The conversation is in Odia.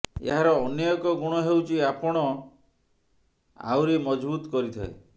ଏହାର ଅନ୍ୟ ଏକ ଗୁଣ ହେଉଛି ଆପଣ ଦୃଷ୍ଟିକ୍ତିକୁ ଆହୁରୀ ମଜଭୁତ କରିଥାଏ